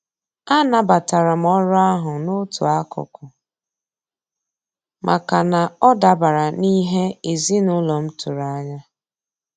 A nabatara m orụ ahụ n'otu akụkụ, maka na ọ dabara n'ihe ezinaụlọ m tụrụ anya.